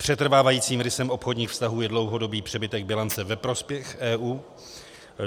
Přetrvávajícím rysem obchodních vztahů je dlouhodobý přebytek bilance ve prospěch EU.